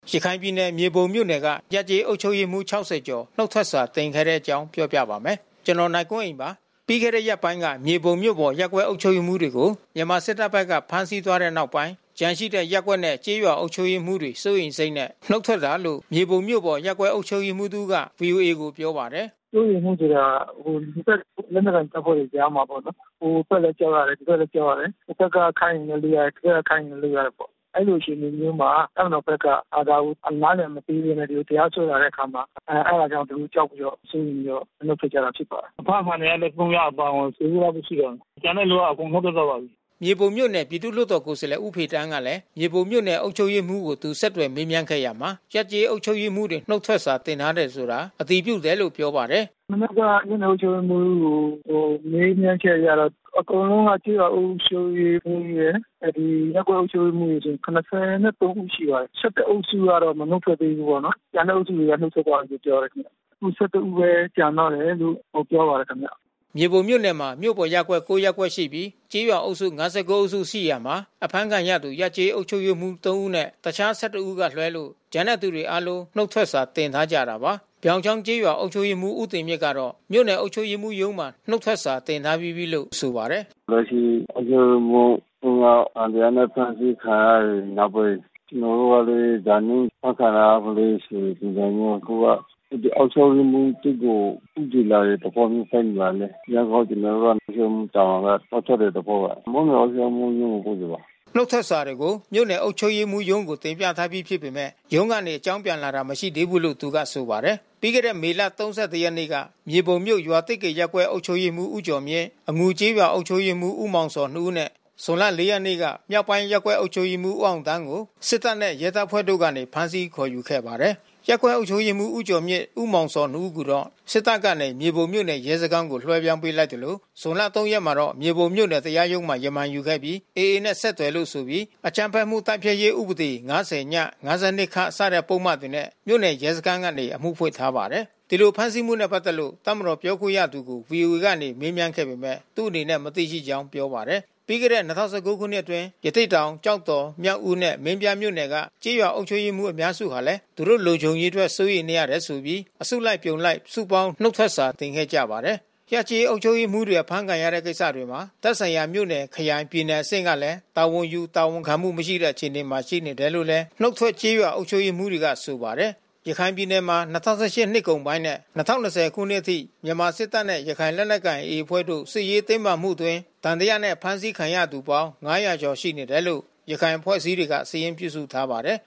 ရခိုင်ပြည်နယ် မြေပုံမြို့နယ်က ရပ်/ကျေးအုပ်ချုပ်ရေးမှူး ၆၀ နီးပါး နုတ်ထွက်စာတင်ထားကြပါတယ်။ အပြည့်အစုံကို နိုင်ကွန်းအိန် တင်ပြပေးထားပါတယ်။ ပြီးခဲ့တဲ့ရက်ပိုင်းက မြေပုံမြို့ပေါ်ရပ်ကွက် အုပ်ချုပ်ရေးမှူးတွေကို မြန်မာစစ်တပ်ဘက်က ဖမ်းဆီးသွားတဲ့နောက်ပိုင်း ကျန်ရှိတဲ့ ရပ်ကွက်နဲ့ ကျေးရွာအုပ်ချုပ်ရေးမှူးတွေ စိုးရိမ်စိတ်နဲ့ နုတ်ထွက်တာလို့ မြေပုံမြို့ပေါ် အုပ်ချပ်ရေးမှူးတဦးက ဗွီအိုအေကို ပြောပါတယ်။ “စိုးရိမ်မှုဆိုတာ နှစ်ဖက် လက်နက်ကိုင်တပ်တွေကြားမှာပေါ့နော်၊ ဟိုဘက်လည်း ကြောက်ရတယ်၊ ဒီဘက်လည်း ကြောက်ရတယ်။ ဟိုဘက်ကခိုင်းရင်လည်း လုပ်ရတယ်၊ ဒီဘက်ကခိုင်းရင်လည်း လုပ်ရတယ်ပေါ့နော်။ အဲဒီလိုအခြေအနေမျိုးမှာ တပ်မတော်ဘက်က ဒါကို နားလည်မပေးဘဲနဲ့ တရားစွဲလာတဲ့အခါမှာ အဲဒါကြောင့် သူတို့ ကြောက်ပြီးတော့၊ သူတို့ စိုးရိမ်ပြီးတော့ နုတ်ထွက်ကြတာ ဖြစ်ပါတယ်။ အဖမ်းခံရတဲ့ ၃ ယောက် အပါအဝင် ၁၀ ဦးလောက်ပဲ ရှိတော့တယ်။ ကျန်တဲ့လူ အကုန်နုတ်ထွက်သွားပါပြီ။” မြေပုံမြို့နယ် ပြည်သူ့လွှတ်တော်ကိုယ်စားလှယ် ဦးဖေသန်းကလည်း မြေပုံမြို့နယ် အုပ်ချုပ်ရေးမှူးကို သူ ဆက်သွယ်မေးမြန်းခဲ့ရာမှာ ရပ်/ကျေးအုပ်ချုပ်ရေးမှူးတွေ နုတ်ထွက်စာ တင်ထားတယ်ဆိုတာ အတည်ပြုတယ်လို့ ပြောပါတယ်။ “မနက်က မြို့နယ်အုပ်ချုပ်ရေးမှူးကို မေးမြန်းချက်အရတော့ အကုန်လုံးက ကျေးရွာအုပ်ချုပ်ရေးမှူးရယ် ရပ်ကွက်အုပ်ချုပ်ရေးမှူးဆို ၇၃ ဦးရှိပါတယ်။ ၁၁ ဦးကတော့ နုတ်မထွက်သေးဘူးပေါ့နော်။ ကျန်တဲ့အုပ်စုတွေတော့ နုတ်ထွက်သွားပြီလို့ ပြောတယ်။ ခု ၁၁ ဦးပဲ ကျန်တော့တယ်လို့ ပြောပါတယ်ခင်ဗျ။” မြေပုံမြို့နယ်မှာ မြို့ပေါ်ရပ်ကွက် ၉ ရပ်ကွက်ရှိပြီး ကျေးရွာအုပ်စု ၅၉ အုပ်စုရှိရာမှာ အဖမ်းခံရသူ ရပ်ကျေးအုပ်ချုပ်ရေးမှူး ၃ ဦးနဲ့ တခြား ၁၁ ဦးကလွဲလို့ ကျန်တဲ့သူတွေအားလုံး နုတ်ထွက်စာ တင်ထားကြတာပါ။ ပြောင်ချောင်းကျေးရွာ အုပ်ချုပ်ရေးမှူး ဦးတင်မြင့်ကတော့ မြို့နယ်အုပ်ချုပ်ရေးမှူးရုံးမှာ နုတ်ထွက်စာတင်ထားပြီးပြီလို့ ဆိုပါတယ်။ “လက်ရှိ အုပ်ချုပ်ရေးမှူး ၃ ယောက် သံသယနဲ့ ဖမ်းဆီးခံရတဲ့နောက်ပိုင်း ကျနော်တို့လည်း ဒါမျိုး အဖမ်းခံရမလဲဆိုတဲ့ ပုံစံမျိုး အခုက အဲဒီ အုပ်ချုပ်ရေးမှူးဘက်ကို ဦးတည်လာတဲ့သဘောမျိုး သက်ရောက်လာနေတယ်။ ဒါကြောင့်မို့ ကျနော်တို့က အုပ်ချုပ်ရေးမှူးတာဝန်က နုတ်ထွက်တဲ့သဘောပါ။ မြို့နယ်အုပ်ချုပ်ရေးမှူးရုံးကို ပို့ပေးပါတယ်။” နုတ်ထွက်စာတွေကို မြို့နယ်အုပ်ချုပ်ရေးမှူးရုံးကို တင်ပြထားပြီးဖြစ်ပေမယ့် ရုံးကနေ အကြောင်းပြန်လာတာ မရှိသေးဘူးလို့ သူက ဆိုပါတယ်။ ပြီးခဲ့တဲ့ မေလ ၃၁ ရက်နေ့က မြေပုံမြို့ ရွာသစ်ကေရပ်ကွက် အုပ်ချုပ်ရေးမှူး ဦးကျော်မြင့်၊ အငူကျေးရွာ အုပ်ချုပ်ရေးမှူး ဦးမောင်ဇော်တို့ ၂ ဦးနဲ့ ဇွန်လ ၄ ရက်နေ့က မြောက်ပိုင်းရပ်ကွက် အုပ်ချုပ်ရေးမှူး ဦးအောင်သန်းကို စစ်တပ်နဲ့ ရဲတပ်ဖွဲ့ကနေ ဖမ်းဆီးခေါ်ယူခဲ့ပါတယ်။ ရပ်ကွက်အုပ်ချုပ်ရေးမှူး ဦးကျော်မြင့်နဲ့ ဦးမောင်ဇော်တို့ ၂ ဦးကိုတော့ စစ်တပ်ကနေ မြေပုံမြို့နယ် ရဲစခန်းကို လွှဲပြောင်းပေးလိုက်သလို ဇွန်လ ၃ ရက်နေ့မှာတော့ မြေပုံမြို့နယ် တရားရုံးမှာ ရမန်ယူခဲ့ပြီး AA နဲ့ ဆက်သွယ်လို့ဆိုပြီး အကြမ်းဖက်မှုတိုက်ဖျက်ရေး ဥပဒေ ၅၀ ၊ ၅၂ စတဲ့ပုဒ်မတွေနဲ့ မြို့နယ်ရဲစခန်းကနေ အမှုဖွင့်ထားပါတယ်။ ဒီလို ဖမ်းဆီးမှုနဲ့ပတ်သက်လို့ တပ်မတော်ပြောခွင့်ရသူကို ဗွီအိုအေကနေ မေးမြန်းခဲ့ပေမယ့် သူ့အနေနဲ့ မသိရှိကြောင်း ပြောပါတယ်။ ပြီးခဲ့တဲ့ ၂ဝ၁၉ ခုနှစ်အတွင်းကလည်း ရသေ့တောင်၊ ကျောက်တော်၊ မြောက်ဦးနဲ့ မင်းပြားမြို့နယ်တို့က ကျေးရွာအုပ်ချုပ်ရေးမှူး အများစုဟာလည်း သူတို့လုံခြုံရေးအတွက် စိုးရိမ်နေရလို့ဆိုပြီး အစုလိုက်အပြုံလိုက် စုပေါင်း နုတ်ထွက်စာ တင်ခဲ့ကြဖူးပါတယ်။ ရပ်ကျေးအုပ်ချုပ်ရေးမှူးတွေ ဖမ်းဆီးခံရတဲ့ ကိစ္စတွေမှာ သက်ဆိုင်ရာ မြို့နယ် ခရိုင် ပြည်နယ်အဆင့်ကလည်း တာဝန်ယူ တာဝန်ခံမှုမရှိတဲ့ အခြေအနေမှာ ရှိနေတယ်လို့လည်း နုတ်ထွက်ကျေးရွာ အုပ်ချုပ်ရေးမှူးတွေက ဆိုပါတယ်။ ရခိုင်ပြည်နယ်မှာ ၂၀၁၈ နှစ်ကုန်ပိုင်းနဲ့ ၂၀၂၀ ခုနှစ်အထိ မြန်မာစစ်တပ်နဲ့ ရခိုင်လက်နက်ကိုင် AA အဖွဲ့တို့ စစ်ရေးတင်းမာမှုအတွင်း သံသယနဲ့ ဖမ်းဆီးခံရသူပေါင်း ၅၀၀ ကျော် ရှိနေတယ်လို့ ရခိုင်အဖွဲ့အစည်းတွေက စာရင်းပြုစုထားပါတယ်